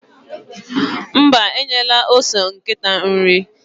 Mba, enyela ose nkịta nri.